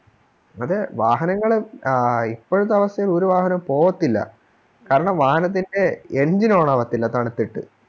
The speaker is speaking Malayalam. അതെ വാഹനങ്ങള് ആ ഇപ്പഴ്ത്തെ അവസ്ഥേല് ഒരു വാഹനോം പോകതില്ല കാരണം വാഹനത്തിൻറെ Engine on ആവത്തില്ല തണുത്തിട്ട്